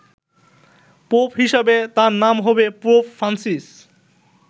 Pope হিসাবে তাঁর নাম হবে পোপ ফ্রান্সিস।